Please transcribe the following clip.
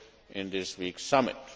in this week's summit.